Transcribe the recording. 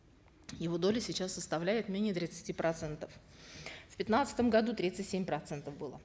его доля сейчас составляет менее тридцати процентов в пятнадцатом году тридцать семь процентов было